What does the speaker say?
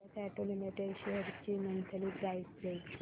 Bajaj auto limited shares ची monthly price range